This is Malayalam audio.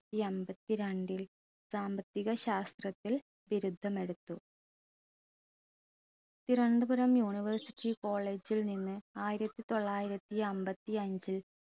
ത്തിയമ്പത്തി രണ്ടിൽ സാമ്പത്തിക ശാസ്ത്രത്തിൽ ബിരുദം എടുത്തു തിരുവനന്തപുരം university college ൽ നിന്ന് ആയിരത്തി തൊള്ളായിരത്തി അമ്പത്തിയഞ്ചിൽ